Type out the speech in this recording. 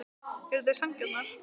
Eru þær sanngjarnar?